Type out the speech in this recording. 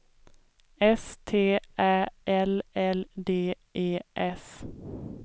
S T Ä L L D E S